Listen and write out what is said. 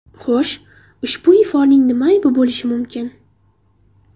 Xo‘sh, ushbu iforning nima aybi bo‘lishi mumkin?